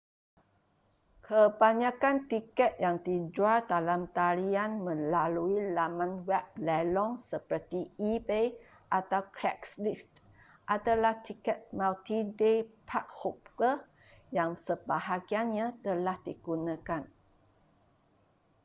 kebanyakan tiket yang dijual dalam talian melalui laman web lelong seperti ebay atau craigslist adalah tiket multi-day park-hopper yang sebahagiannya telah digunakan